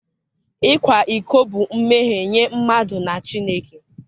ịkwa iko bụ mmehie nye mmadụ na Chineke.